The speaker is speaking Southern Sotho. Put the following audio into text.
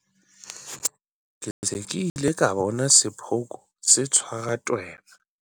Ke se ke ile ka bona sephooko se tshwara tweba.